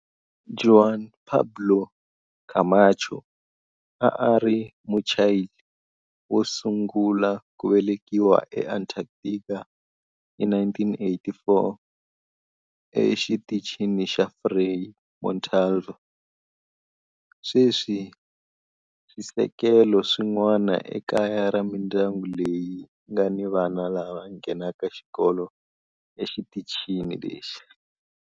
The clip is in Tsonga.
Juan Pablo Camacho a a ri Muchile wo sungula ku velekiwa eAntarctica hi 1984 eXitichini xa Frei Montalva. Sweswi swisekelo swin'wana i kaya ra mindyangu leyi nga ni vana lava nghenaka xikolo exitichini lexi.